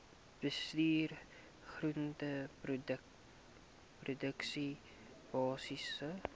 bestuur groenteproduksie basiese